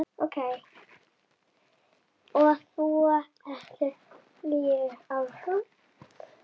Og svo heldur lífið áfram.